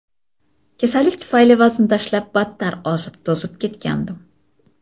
Kasallik tufayli vazn tashlab, battar ozib-to‘zib ketgandim.